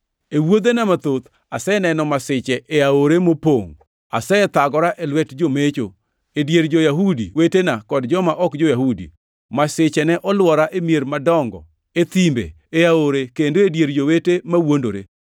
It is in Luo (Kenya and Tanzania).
E wuodhena mathoth, aseneno masiche e aore mopongʼ, asethagora e lwet jomecho, e dier jo-Yahudi wetena kod joma ok jo-Yahudi. Masiche ne olwora e mier madongo, e thimbe, e aore, kendo e dier Jowete mawuondore.